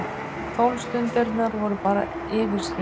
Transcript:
Tólf stundirnar voru bara yfirskin.